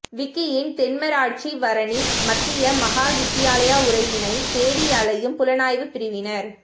விக்கியின் தென்மராட்சி வறணி மத்திய மகாவித்தியாலய உரையினை தேடி அலையும் புலனாய்வுப் பிரிவினர்